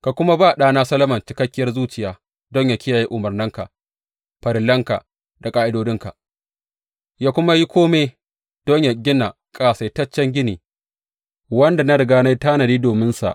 Ka kuma ba ɗana Solomon cikakkiyar zuciya don yă kiyaye umarnanka, farillanka da ƙa’idodinka yă kuma yi kome don yă gina ƙasaitaccen gini wanda na riga na yi tanadi dominsa.